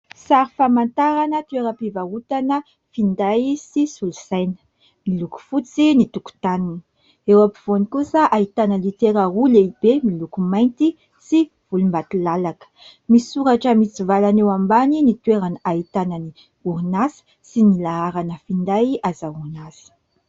Sary famatarana toeram_pivarotana finday sy solosaina. Miloko fotsy ny tokontaniny. Eo ampovoany kosa ahitana litera roa lehibe miloko mainty sy volondakilalaka. Misy soratra mitsivalana eo ambany ny toerana ahitana ny orinasa sy ny laharana finday azahoana azy.